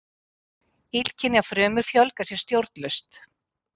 Illkynja frumur fjölga sér stjórnlaust.